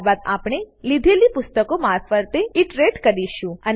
ત્યારબાદ આપણે લીધેલી પુસ્તકો મારફતે ઈટરેટ કરીશું